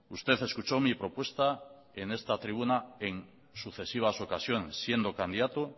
usted escuchó mi propuesta en esta tribuna en sucesivas ocasiones siendo candidato